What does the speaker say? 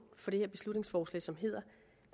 for det her beslutningsforslag som hedder